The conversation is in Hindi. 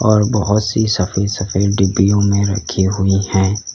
और बहोत सी सफेद सफेद डिब्बियों में रखी हुई हैं।